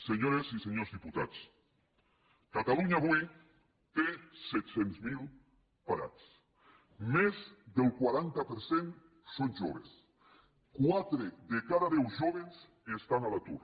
senyores i senyors diputats catalunya avui té set cents miler parats més del quaranta per cent són joves quatre de cada deu jóvens estan a l’atur